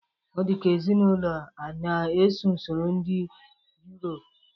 Ọ dịka ezinaụlọ a na-eso usoro ndị Yurop